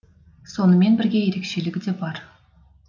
сонымен бірге ерекшелігі де бар